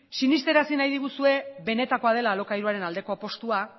sinestarazi nahi diguzue benetakoa dela alokairuaren aldeko apustua